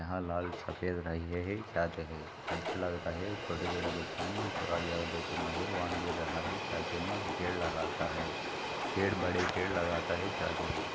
यहा लाल सफ़ेद रहिहे है छाते है अच्छा लगता है छोटे छोटे बच्चे में पेड़ लगता है बड़े पेड़ लगता है.छाते है।